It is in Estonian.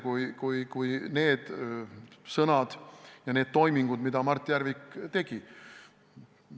Need olid Mart Järviku sõnad ja toimingud, mida Mart Järvik tegi.